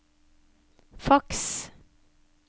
faks